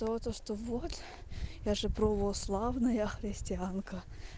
то что вот я же православная я христианка